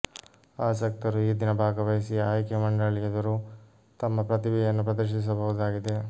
ಆಸಕ್ತರು ಈ ದಿನ ಭಾಗವಹಿಸಿ ಆಯ್ಕೆ ಮಂಡಳಿ ಎದುರು ತಮ್ಮ ಪ್ರತಿಭೆಯನ್ನು ಪ್ರದರ್ಶಿಸಬಹುದಾಗಿದೆ